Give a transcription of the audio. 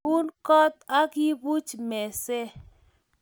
Iun koot akibuch mesee